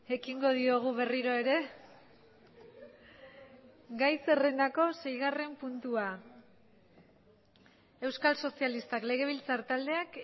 ekingo diogu berriro ere gai zerrendako seigarren puntua euskal sozialistak legebiltzar taldeak